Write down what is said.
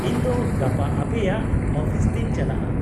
-ᱤᱧ ᱫᱚ ᱜᱟᱯᱟ ᱟᱯᱮᱭᱟᱜ ᱚᱯᱷᱤᱥ ᱛᱮᱧ ᱪᱟᱞᱟᱜᱼᱟ ᱾